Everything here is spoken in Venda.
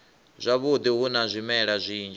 zwavhudi hu na zwimela zwinzhi